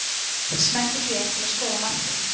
Smelltu hér til að skoða markið